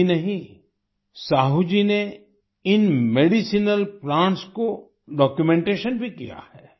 यही नहीं साहू जी ने इन मेडिसिनल प्लांट्स को डॉक्यूमेंटेशन भी किया है